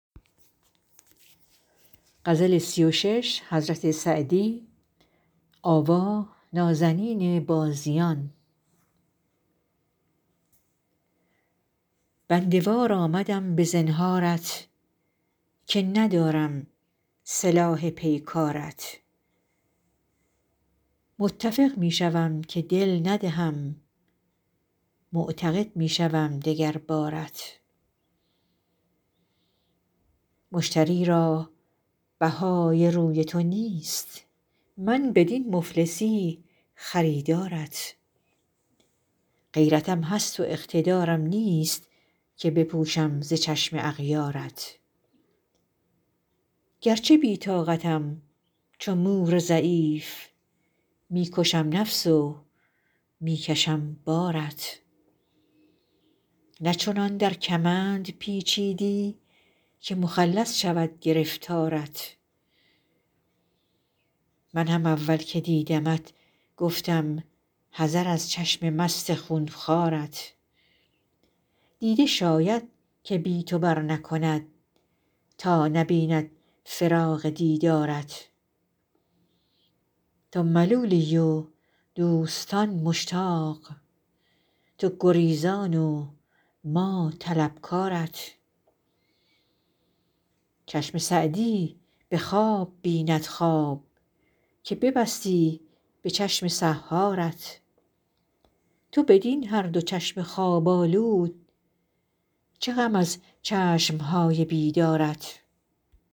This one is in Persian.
بنده وار آمدم به زنهارت که ندارم سلاح پیکارت متفق می شوم که دل ندهم معتقد می شوم دگر بارت مشتری را بهای روی تو نیست من بدین مفلسی خریدارت غیرتم هست و اقتدارم نیست که بپوشم ز چشم اغیارت گرچه بی طاقتم چو مور ضعیف می کشم نفس و می کشم بارت نه چنان در کمند پیچیدی که مخلص شود گرفتارت من هم اول که دیدمت گفتم حذر از چشم مست خون خوارت دیده شاید که بی تو برنکند تا نبیند فراق دیدارت تو ملولی و دوستان مشتاق تو گریزان و ما طلبکارت چشم سعدی به خواب بیند خواب که ببستی به چشم سحارت تو بدین هر دو چشم خواب آلود چه غم از چشم های بیدارت